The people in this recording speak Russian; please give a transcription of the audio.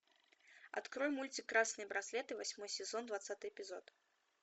открой мультик красные браслеты восьмой сезон двадцатый эпизод